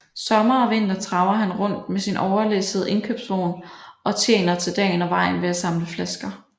Sommer og vinter traver han rundt med sin overlæssede indkøbsvogn og tjener til dagen og vejen ved at samle flasker